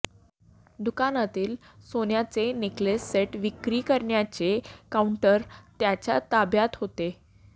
दुकानातील सोन्याचे necklace set विक्री करण्याचे काऊंटर त्याच्या ताब्यात होते